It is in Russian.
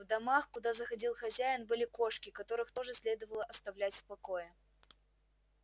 в домах куда заходил хозяин были кошки которых тоже следовало оставлять в покое